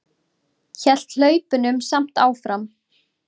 Hélt hlaupunum samt áfram.